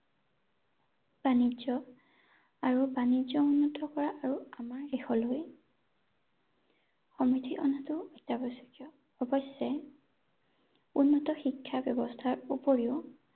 বাণিজ্য আৰু বাণিজ্য উন্নতি থকা আৰু আমাৰ দেশলৈ সমৃদ্ধি অনাটো অত্যাৱশ্যকীয় ৷ অৱশ্যে উন্নত শিক্ষা ব্যৱস্থাৰ উপৰিও